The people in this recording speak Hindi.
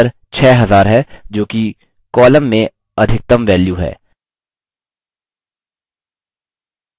ध्यान दें कि उत्तर 6000 है जोकि column में अधिकतम value है